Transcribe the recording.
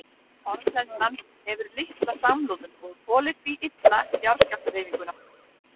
Torfhleðslan hefur litla samloðun og þolir því illa jarðskjálftahreyfinguna.